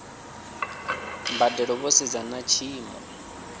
mbadelo vho sedza na tshiimo